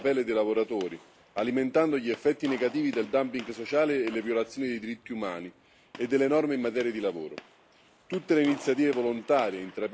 Le conseguenze di questa situazione ricadono sulla pelle dei lavoratori, alimentando gli effetti negativi del dumping sociale e le violazioni dei diritti umani e delle norme in materia di lavoro.